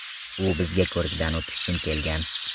U bizga ko‘rikdan o‘tish uchun kelgan.